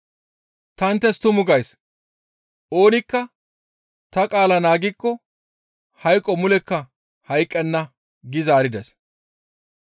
Ta inttes tumu gays; oonikka ta qaala naagikko hayqo mulekka hayqqenna» gi zaarides.